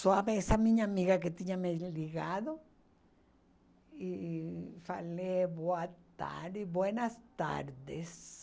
Suave, essa minha amiga que tinha me ligado e falei boa tarde, buenas tardes.